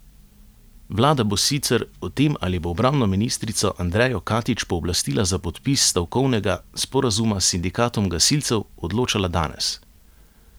Vlada bo sicer o tem, ali bo obrambno ministrico Andrejo Katič pooblastila za podpis stavkovnega sporazuma s sindikatom gasilcev, odločala danes.